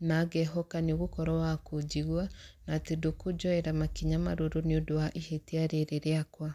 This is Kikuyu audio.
na ngehoka nĩ ũgũkorwo wa kũnjigua, na atĩ ndũkũnjoera makinya marũrũ nĩ ũndũ wa ihĩtia rĩrĩ rĩakwa.